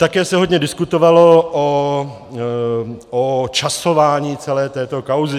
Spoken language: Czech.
Také se hodně diskutovalo o časování celé této kauzy.